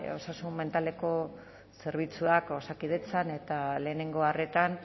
osasun mentaleko zerbitzuak osakidetzan eta lehenengo arretan